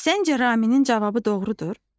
Səncə Raminin cavabı doğrudur?